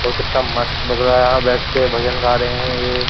और कितना मस्त लग रहा है यार बैठ के भजन गा रहे हैं ये।